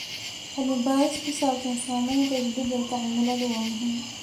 Cilmi-baadhis ku saabsan saamaynta isbeddelka cimiladu waa muhiim.